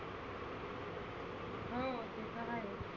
हो ते तर आहेच.